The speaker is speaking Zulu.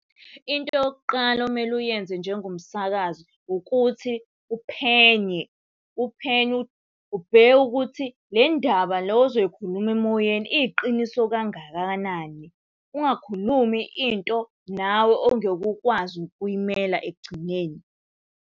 Into yokuqala okumele uyenze njengomsakazi ukuthi uphenye. Uphenye ubheke ukuthi le ndaba le ozoyikhuluma emoyeni iyiqiniso kangakanani. Ungakhulumi into nawe ongeke ukwazi ukuy'mela ekugcineni.